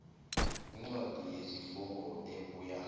incwadi yesifungo ebuya